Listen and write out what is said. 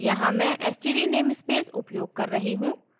यहाँ मैं std namespace उपयोग कर रही हूँ